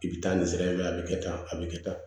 I bi taa nin sira in na a bi kɛ tan a be kɛ tan